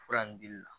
Fura nin dili la